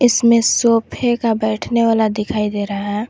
इसमें सोफे का बैठने वाला दिखाई दे रहा है।